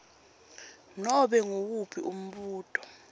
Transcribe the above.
nobe nguwuphi umbuto